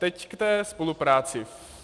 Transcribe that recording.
Teď k té spolupráci.